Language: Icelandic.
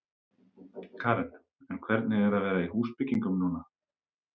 Karen: En hvernig er að vera í húsbyggingum núna?